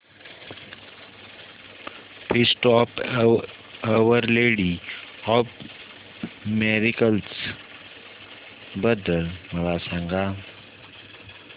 feast of our lady of miracles बद्दल मला सांगा